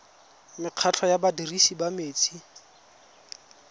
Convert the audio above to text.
mekgatlho ya badirisi ba metsi